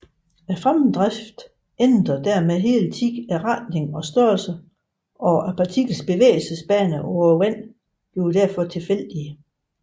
Fremdriften ændrer dermed hele tiden retning og størrelse og partiklernes bevægelsesbaner på vandet bliver derfor tilfældige